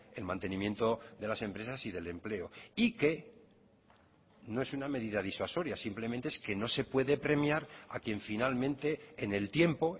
el mantenimiento de las empresas y del empleo y que no es una medida disuasoria simplemente es que no se puede premiar a quien finalmente en el tiempo